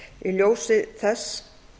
í ljósi þess